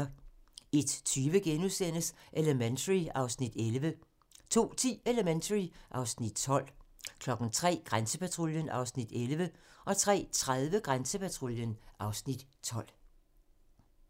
01:20: Elementary (Afs. 11)* 02:10: Elementary (Afs. 12) 03:00: Grænsepatruljen (Afs. 11) 03:30: Grænsepatruljen (Afs. 12)